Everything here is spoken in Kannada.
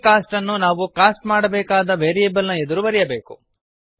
ಈ ಕಾಸ್ಟ್ ಅನ್ನು ನಾವು ಕಾಸ್ಟ್ ಮಾಡಬೇಕಾದ ವೇರಿಯೇಬಲ್ ನ ಎದುರು ಬೆರೆಯಬೇಕು